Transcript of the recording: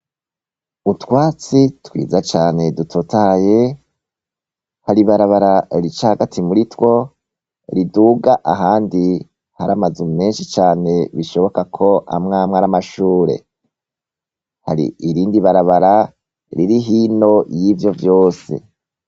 Utwatsi twiza cane dutotahaye, hari ibarabara hagati muri two, riduga ahandi hari amazu menshi cane, bishoboka ko amwamwe ari amashure. Hari irindi barabara riduga hino y'ivyo vyose